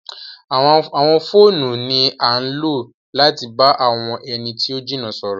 Àwọn fóònú ni àn lo lati ba awọn ẹni ti o jina sọrọ